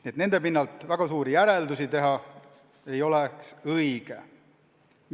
Nii et nende pinnalt väga suuri järeldusi teha ei oleks õige.